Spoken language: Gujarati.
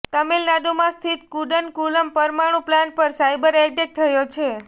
તમિલનાડુમાં સ્થિત કુડનકુલમ પરમાણુ પ્લાન્ટ પર સાઇબર એટેક થયો છે